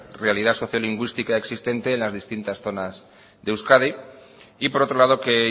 realidad sociolingüística existente en las distintas zonas de euskadi y por otro lado que